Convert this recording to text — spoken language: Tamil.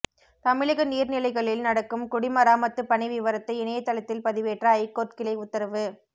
தமிழக நீர்நிலைகளில் நடக்கும் குடிமராமத்து பணி விவரத்தை இணையதளத்தில் பதிவேற்ற ஐகோர்ட் கிளை உத்தரவு